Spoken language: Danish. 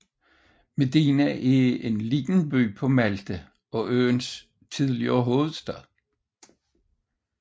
Mdina er en lille by på Malta og øens tidligere hovedstad